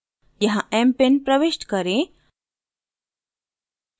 यहाँ mpin प्रविष्ट करें